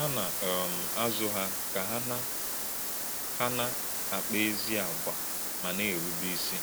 Hà̄ nà - um àzù̄ hà̄ kà hà̄ nà - hà̄ nà - àkpà̄ ézì̄ àgwà̄ mà̄ nà - èrù̄bè̄ ìsì̄.